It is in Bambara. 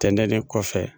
Tɛmɛnen kɔfɛ